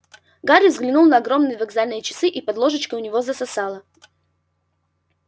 гарри взглянул на огромные вокзальные часы и под ложечкой у него засосало